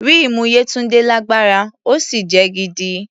Ríìmù Yétúndé lágbára, ó sì jẹ́ gidi.